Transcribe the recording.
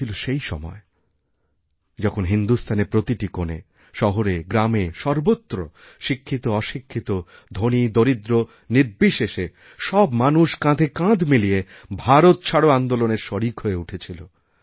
এ ছিল সেইসময় যখন হিন্দুস্থানের প্রতিটি কোণে শহরেগ্রামে সর্বত্র শিক্ষিতঅশিক্ষিতধনীদরিদ্র নির্বিশেষে সব মানুষ কাঁধে কাঁধ মিলিয়ে ভারত ছাড়ো আন্দোলনের শরিক হয়েউঠেছিল